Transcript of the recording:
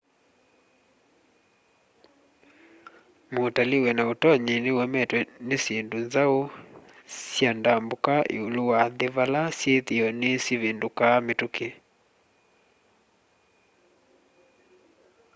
mutalii wina utonyi ni uemetwe ni syindũ nzaũ sya ndambũka iũlu wa nthi vala syithio ni syivindukaa mituki